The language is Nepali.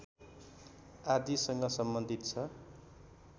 आदिसँग सम्बन्धित छ